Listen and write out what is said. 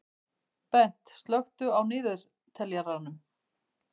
Bent, slökktu á niðurteljaranum.